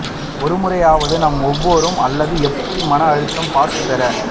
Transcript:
ஒருமுறையாவது நாம் ஒவ்வொருவரும் அல்லது எப்படி மன அழுத்தம் பாஸ்ட் பெற